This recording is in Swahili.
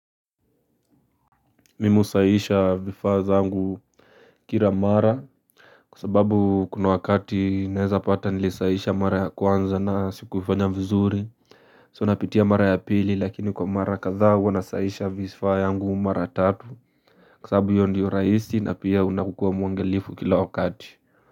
Mimi usahisha vifaa zangu kira mara Kwa sababu kuna wakati naeza pata nilisahisha mara ya kwanza na sikuifanya vizuri So napitia mara ya pili lakini kwa mara kadhaa huwa nasahisha vifaa yangu mara tatu Kwa sababu hio ndio rahisi na pia unakuwa mwangalifu kila wakati.